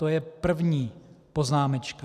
To je první poznámečka.